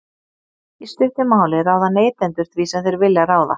Í stuttu máli ráða neytendur því sem þeir vilja ráða.